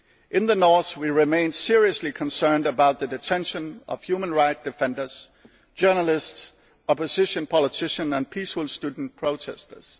In the north, we remain seriously concerned about the detention of human rights defenders, journalists, opposition politicians and peaceful student protestors.